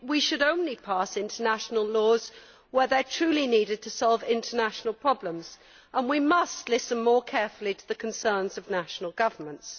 We should only pass international laws where they are truly needed to solve international problems and we must listen more carefully to the concerns of national governments.